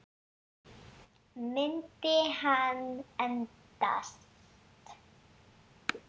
Myndi hann endast?